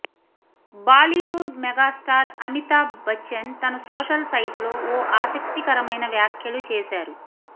Bollywood megastar Amitabh Bachchan తన social సైట్లో ఓ ఆసక్తికరమైన వ్యాఖ్యలు చేశారు